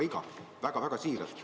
Ütlen seda väga-väga siiralt.